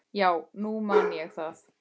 Já, nú man ég það.